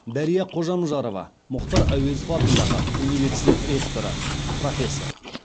дәрия қожамжарова мұхтар әуезов атындағы университет ректоры профессор